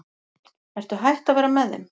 Ertu hætt að vera með þeim?